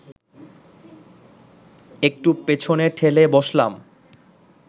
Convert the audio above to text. একটু পেছনে ঠেলে বসলাম